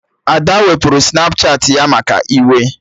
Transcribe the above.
Ada wepụrụ Snapchatị ya maka iwe